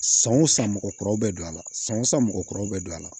San o san mɔgɔ kuraw bɛ don a la san wo san mɔgɔ kuraw be don a la